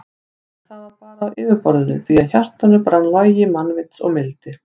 En það var bara á yfirborðinu því að í hjartanu brann logi mannvits og mildi.